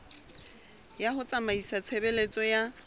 ya ho tsamaisa tshebeletso ya